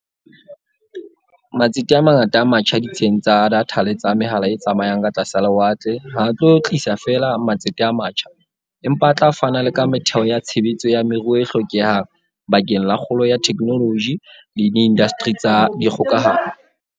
Matsete a mangata a matjha ditsheng tsa datha le tsa mehala e tsamayang ka tlasa lewatle ha a tlo tlisa feela matsete a matjha, empa a tla fana le ka metheo ya tshebetso ya moruo e hlokehang bakeng la kgolo ya theknoloji le diindasteri tsa dikgokahano.